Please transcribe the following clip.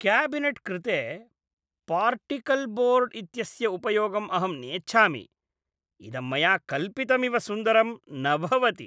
Cabinet कृते particleboard इत्यस्य उपयोगम् अहं नेच्छामि, इदं मया कल्पितमिव सुन्दरं न भवति।